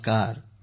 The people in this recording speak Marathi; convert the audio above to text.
नमस्कार